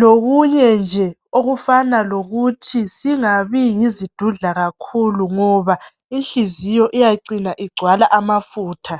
lokunye nje okufana lokuthi singabi yizidudla kakhulu ngoba inhliziyo iyacina igcwala amafutha.